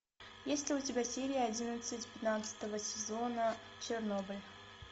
есть ли у тебя серия одиннадцать пятнадцатого сезона чернобыль